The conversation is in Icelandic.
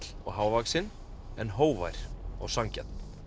og hávaxinn en hógvær og sanngjarn